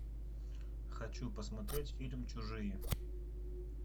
хочу посмотреть фильм чужие